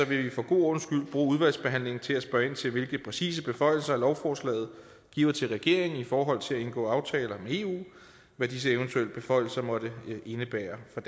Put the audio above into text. vil vi for god ordens skyld bruge udvalgsbehandlingen til at spørge ind til hvilke præcise beføjelser lovforslaget giver til regeringen i forhold til at indgå aftaler med eu og hvad disse eventuelle beføjelser måtte indebære for